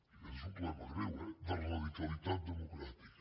i aquest és un problema greu eh de radicalitat democràtica